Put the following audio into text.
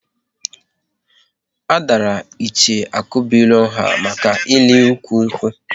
A dàrà Ichie Akubuilo nha maka ịli ụkwụ nkwu